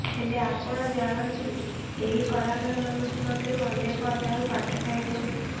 ହେଲେ ଆପଣ ଜାଣନ୍ତି ଏହି କଳାକାରମାନଙ୍କ ମଧ୍ୟରୁ ଅନେକ ଅଧାରୁ ପାଠ ଛାଡ଼ିଛନ୍ତି